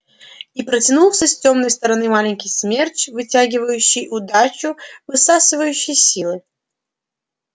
и протянулся с тёмной стороны маленький смерч вытягивающий удачу высасывающий силы